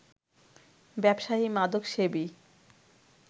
ব্যবসায়ী, মাদকসেবী